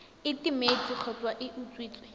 e timetse kgotsa e utswitswe